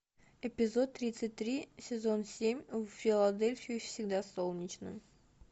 эпизод тридцать три сезон семь в филадельфии всегда солнечно